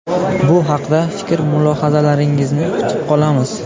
Bu haqda fikr-mulohazalaringizni kutib qolamiz.